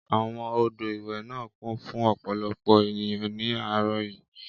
Àwọn odò ìwẹ̀ náà kún fún ọ̀pọ̀lọpọ̀ ènìyàn ní àárọ̀ yìí.